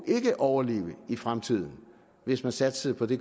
overleve i fremtiden hvis man satsede på det